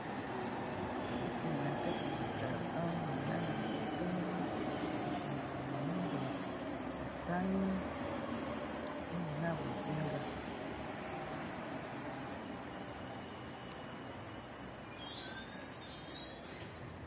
Kisi, na kati ya carton, na langi ya pembe. Makomami moindo, motani, mpe na bozinga.